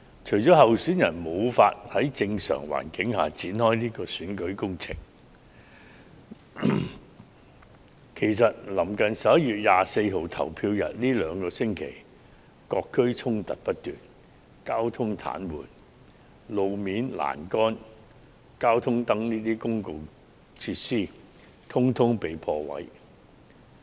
除了候選人無法在正常環境下展開選舉工程，其實臨近11月24日投票日的兩星期，各區衝突不斷，導致交通癱瘓，而道路表面、欄杆及交通燈等公共設施全被破壞。